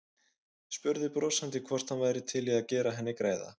Spurði brosandi hvort hann væri til í að gera henni greiða.